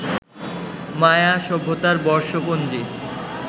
মায়া সভ্যতার বর্ষপঞ্জী